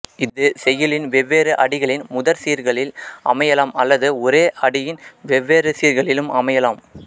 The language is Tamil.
இது செய்யுளின் வெவ்வேறு அடிகளின் முதற் சீர்களில் அமையலாம் அல்லது ஒரே அடியின் வெவ்வேறு சீர்களிலும் அமையலாம்